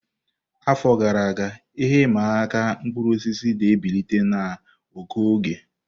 Afọ gara aga, ihe ịma aka mkpụrụ osisi na-ebilite na ụkọ oge.